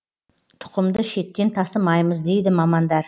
тұқымды шеттен тасымаймыз дейді мамандар